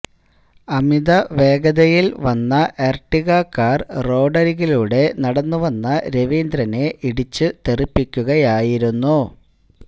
അമിത വേഗതയിൽ വന്ന Ertiga car റോഡരികിലൂടെ നടന്നു വന്ന രവീന്ദ്രനെ ഇടിച്ചു തെറിപ്പിക്കുകയായിരുന്നു